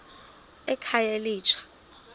ekhayelitsha